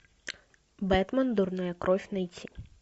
бэтмен дурная кровь найти